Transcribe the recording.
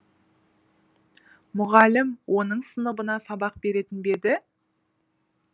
мұғалім оның сыныбына сабақ беретін бе еді